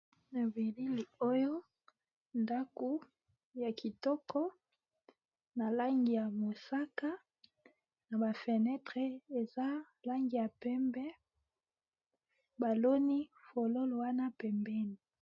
Na bilili oyo, ndako ya kitoko na langi ya mosaka na ba fenetre eza langi ya pembe. ba loni fololo wana pembeni.